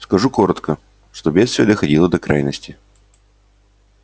скажу коротко что бедствие доходило до крайности